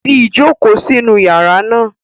Fi ijoko sinu yara naa